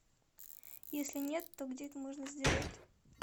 если нет то где это можно сделать